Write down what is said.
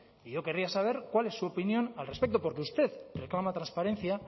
y yo querría saber cuál es su opinión al respecto porque usted reclama transparencia